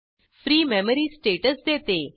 free memory status देते